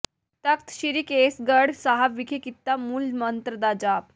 ਤਖ਼ਤ ਸ੍ਰੀ ਕੇਸਗੜ੍ਹ ਸਾਹਿਬ ਵਿਖੇ ਕੀਤਾ ਮੂਲ ਮੰਤਰ ਦਾ ਜਾਪ